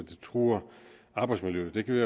truer arbejdsmiljøet det kan vi